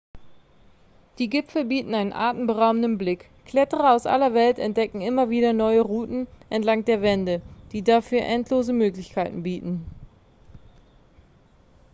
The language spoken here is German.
die gipfel bieten einen atemberaubenden blick kletterer aus aller welt entdecken immer wieder neue routen entlang der wände die dafür endlose möglichkeiten bieten